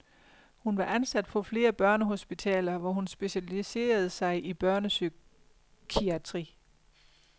Hun var ansat på flere børnehospitaler, hvor hun specialiserede sig i børnepsykiatri.